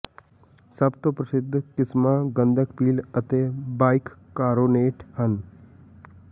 ਸਭ ਤੋਂ ਪ੍ਰਸਿੱਧ ਕਿਸਮਾਂ ਗੰਧਕ ਪੀਲ ਅਤੇ ਬਾਇਕਕਾਰੋਨੇਟ ਹਨ